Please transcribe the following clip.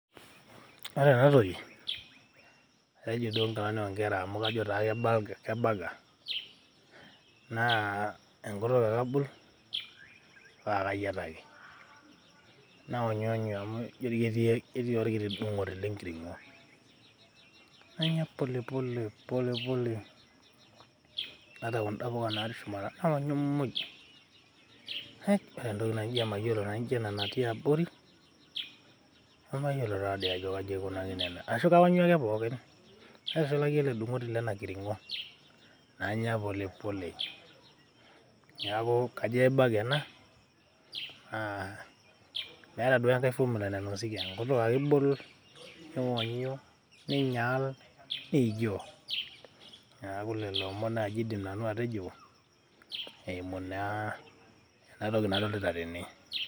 ore ena toki kejiduoo inkilani onkera amu kajo taa ke burger. naa enkutuk ake abol paa kayietaki .nayonyonyu amu ijoketii orkiti dung'oti le nkiring'o . nanya polepole , polepole, ata kunda puka natii shumata nanya mmuj. haij ore entoki naijo emayiolo naijo ena natii abori ,nemayiolo taadii ajo kaji aikunakino ena ,ashu kaonyu ake pookin naitushulaki ele dung'oti lena kiringo. nanya polepole. niaku kajo ke burger ena naa meetae ake enkae formula nainosieki , enkutuk ake ibol nionyu ,ninyaal ,niijoo .neaku naa lelo omon naji nanu aidim atejo eimu naa ena toki nadolita tene.